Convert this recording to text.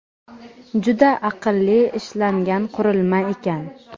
Juda aqlli ishlangan qurilma ekan!.